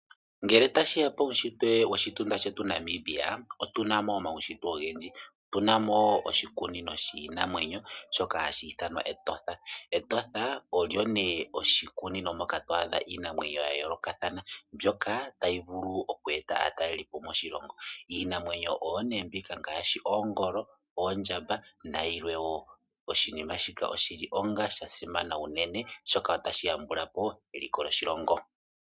Ngele tashi ya puushitwe woshitunda shetu Namibia otu na mo omaushitwe ogendji. Otu na mo oshikunino shiinamwenyo shoka hashi ithanwa Etosha. Etosha olyo nee oshikunino moka to adha iinamwenyo ya yoolokathana mbyoka tayi vulu oku eta aatalelipo moshilongo. Iinamwenyo oyo nee mbika ngaashi oongolo, oondjamba nayilwe wo. Oshinima shika oshi li onga sha simana unene, oshoka otashi yambula po eliko lyoshilongo.